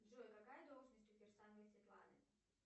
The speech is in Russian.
джой какая должность у кирсановой светланы